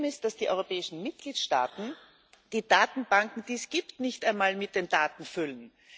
Das Problem ist, dass die Europäischen Mitgliedstaaten die Datenbank, die es gibt, nicht einmal mit Daten füllen.